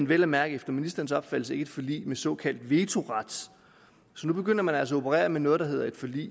vel at mærke efter ministerens opfattelse ikke et forlig med såkaldt vetoret så nu begynder man altså at operere med noget der hedder et forlig